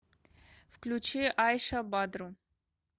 включи айша бадру